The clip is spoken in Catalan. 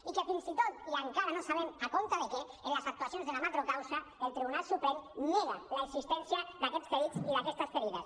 i que fins i tot i encara no sabem en base a què en les actuacions de la macrocausa el tribunal suprem nega l’existència d’aquests ferits i d’aquestes ferides